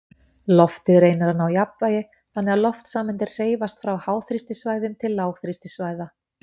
Loftið reynir að ná jafnvægi, þannig að loftsameindir hreyfast frá háþrýstisvæðum til lágþrýstisvæða.